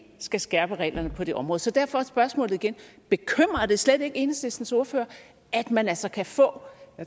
skal skærpe reglerne på det område så derfor er spørgsmålet igen bekymrer det slet ikke enhedslistens ordfører at man altså kan få